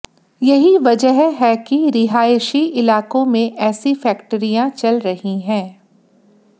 यही वजह है कि रिहायशी इलाकों में ऐसी फैक्टरियां चल रही हैं